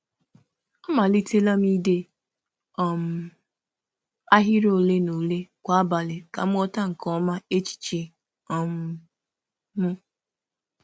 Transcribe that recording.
M um malitere ide ahịrị ole um na ole kwa abalị iji um ghọta echiche m nke ọma.